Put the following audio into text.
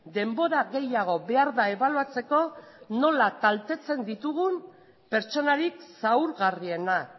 denbora gehiago behar da ebaluatzeko nola kaltetzen ditugun pertsonarik zaurgarrienak